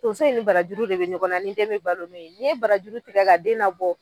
Tonso in ni barajuru de bɛ ɲɔgɔn na ni dɛn bɛ balo n'o ye, ni ye barajuru tigɛ ka den la bɔ.